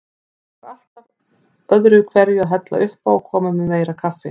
Hún var alltaf öðruhverju að hella uppá og koma með meira kaffi.